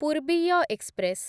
ପୂର୍ବୀୟ express